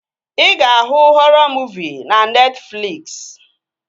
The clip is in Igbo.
Ị ga-ahụ họrọ muuvi na Netfliksi